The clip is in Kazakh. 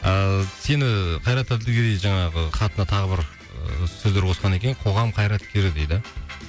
ыыы сені қайрат әділгерей жаңағы хатына тағы бір сөздер қоскан екен қоғам қайраткері дейді